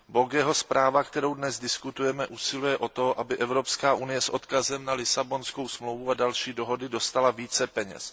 Bögeho zpráva, o které dnes diskutujeme, usiluje o to, aby Evropská unie s odkazem na Lisabonskou smlouvu a další smlouvy dostala více peněz.